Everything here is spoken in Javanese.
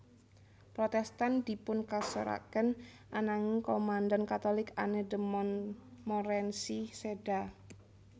Protestan dipunkasoraken ananging komandan Katolik Anne de Montmorency séda